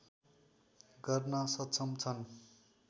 गर्न सक्षम छन्